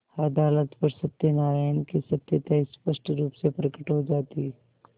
अदालत पर सत्यनारायण की सत्यता स्पष्ट रुप से प्रकट हो जाती